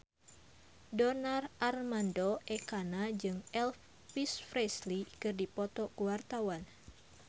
Donar Armando Ekana jeung Elvis Presley keur dipoto ku wartawan